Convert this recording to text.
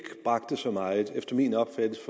bragte så meget efter min opfattelse